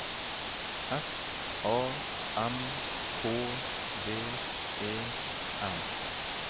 S A M K V E M